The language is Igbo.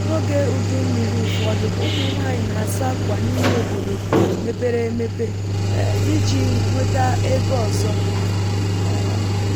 n’oge ùdúmmiri ụfọdụ ụmụ nwanyị na-asa akwa n’ime obodo mepere emepe um iji nweta ego ọzọ um